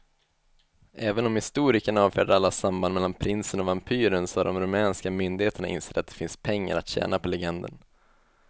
Även om historikerna avfärdar alla samband mellan prinsen och vampyren så har de rumänska myndigheterna insett att det finns pengar att tjäna på legenden.